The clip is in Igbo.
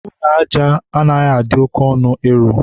ụlọ aja ụrọ anaghị adị oke ọnụ ịrụ.